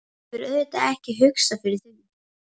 Hann hefur auðvitað ekki hugsað fyrir því?